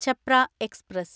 Chhapra express